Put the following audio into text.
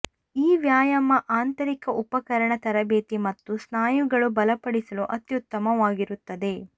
ಈ ವ್ಯಾಯಾಮ ಆಂತರಿಕ ಉಪಕರಣ ತರಬೇತಿ ಮತ್ತು ಸ್ನಾಯುಗಳು ಬಲಪಡಿಸಲು ಅತ್ಯುತ್ತಮವಾಗಿರುತ್ತದೆ